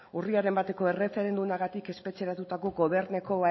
urriaren bateko erreferendumagatik espetxeratutako governeko